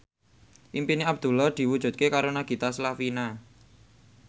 impine Abdullah diwujudke karo Nagita Slavina